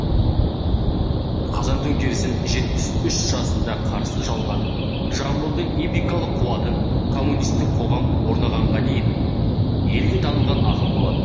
қазан төңкерісін жетпіс үш жасында қарсы алған жамбылдың эпикалық қуатын коммунистік қоғам орнағанға дейін де елге танылған ақын болатын